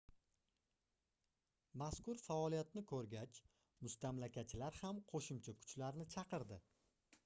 mazkur faoliyatni koʻrgach mustamlakachilar ham qoʻshimcha kuchlarni chaqirdi